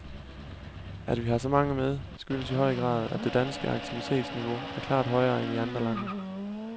At vi har så mange med skyldes i høj grad, at det danske aktivitetsniveau er klart højere end i andre lande.